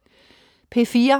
P4: